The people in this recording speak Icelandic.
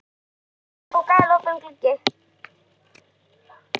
Það er vor og galopinn gluggi.